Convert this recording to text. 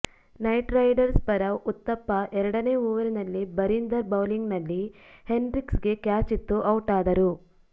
night Riders ಪರ ಉತ್ತಪ್ಪಾ ಎರಡನೇ ಓವರಿನಲ್ಲಿ ಬರೀಂದರ್ ಬೌಲಿಂಗ್ ನಲ್ಲಿ ಹೆನ್ರಿಕ್ಸ್ಗೆ ಕ್ಯಾಚಿತ್ತು ಔಟಾದರು